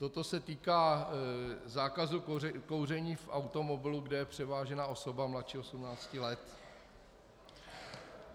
Toto se týká zákazu kouření v automobilu, kde je převážena osoba mladší 18 let.